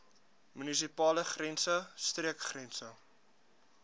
munisipale grense streekgrense